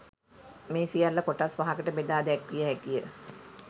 මේ සියල්ල කොටස් පහකට බෙදා දැක්විය හැකි ය.